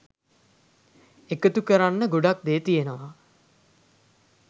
එකතු කරන්න ගොඩක් දේ තියනවා.